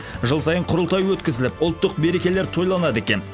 жыл сайын құрылтай өткізіліп ұлттық мерекелер тойланады екен